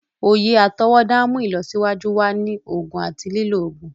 Oyè atọwọda n mú ìlọsíwájú wá ní oògùn àti lilọ oògùn.